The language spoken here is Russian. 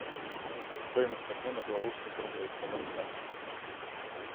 стоимость обмена белорусских рублей в казахстане на английские фунты